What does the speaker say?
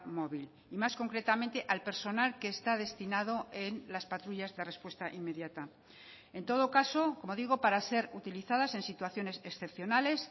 móvil y más concretamente al personal que está destinado en las patrullas de respuesta inmediata en todo caso como digo para ser utilizadas en situaciones excepcionales